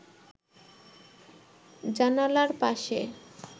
জানালার পাশে